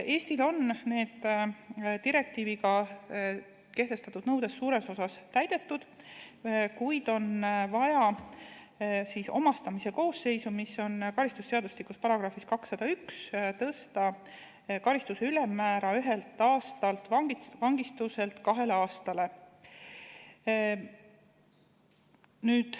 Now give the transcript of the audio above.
Eestil on need direktiiviga kehtestatud nõuded suures osas täidetud, kuid on vaja omastamise koosseisu puhul, mis on karistusseadustiku §-s 201, tõsta karistuse ülemmäära ühelt aastalt vangistuselt kahe aastani.